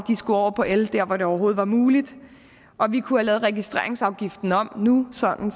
skulle over på el de steder hvor det overhovedet var muligt og vi kunne have lavet registreringsafgiften om nu sådan